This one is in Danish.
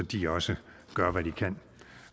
de også gør hvad de kan